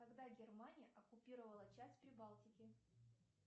когда германия оккупировала часть прибалтики